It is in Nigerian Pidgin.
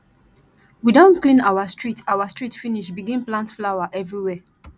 we don clean our street our street finish begin plant flower everywhere